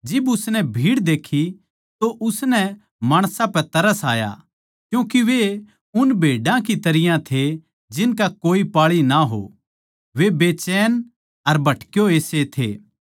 जिब उसनै भीड़ देखी तो उसनै माणसां पै तरस आया क्यूँके वे उन भेड्या की तरियां थे जिनका कोए पाळी ना हो वे बेचैन अर भटके होए से थे